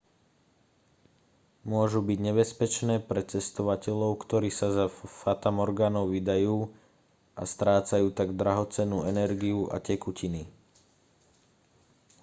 môžu byť nebezpečné pre cestovateľov ktorí sa za fatamorgánou vydajú a strácajú tak drahocennú energiu a tekutiny